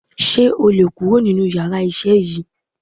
Sé o lè kurò nínú yàrá isé yìí